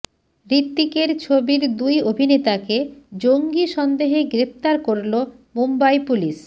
হৃতিকের ছবির দুই অভিনেতাকে জঙ্গি সন্দেহে গ্রেফতার করল মুম্বই পুলিশ